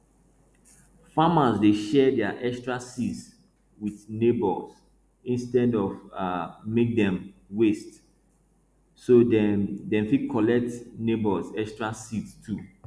farmers dey share dia extra seeds with neighbours instead of um make dem waste so dem dem fit collect neighbours extra seeds too